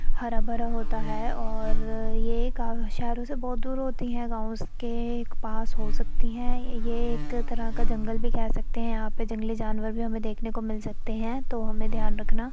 हरा भरा होता है और ये शहरों से बोहोत दूर होती है गाँव के पास हो सकती है। ये एक तरह का जंगल भी कह सकते हैं। यहाँ पे जंगली जानवर भी हमें देखने को मिल सकते हैं तो हमें ध्यान रखना --